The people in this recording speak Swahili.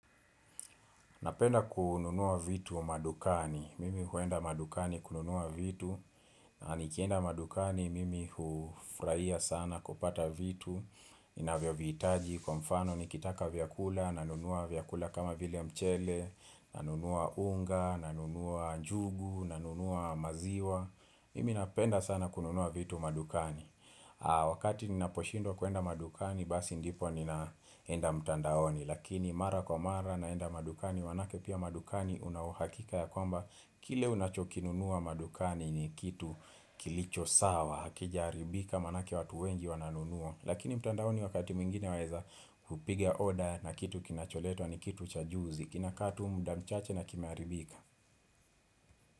Napenda kununua vitu madukani, mimi huenda madukani kununua vitu, nikienda madukani mimi hufurahia sana kupata vitu, inavyo vihitaji kwa mfano nikitaka vyakula, nanunua vyakula kama vile mchele, nanunua unga, nanunua njugu, nanunua maziwa mimi napenda sana kununua vitu madukani wakati nina poshindwa kuenda madukani basi ndipo ninaenda mtandaoni lakini mara kwa mara naenda madukani maanake pia madukani una uhakika ya kwamba kile unachokinunua madukani ni kitu kilicho sawa hakijaharibika maanake watu wengi wananunua lakini mtandaoni wakati mwingine waweza kupiga oda na kitu kinacholetwa ni kitu cha juzi kinakaa tu muda mchache na kimeharibika.